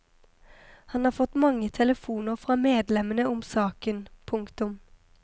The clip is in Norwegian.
Han har fått mange telefoner fra medlemmene om saken. punktum